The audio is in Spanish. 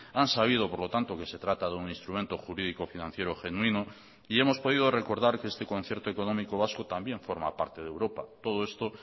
han sabido por lo tanto que se trata de un instrumento jurídico financiero genuino y hemos podido recordar que este concierto económico vasco también forma parte de europa todo esto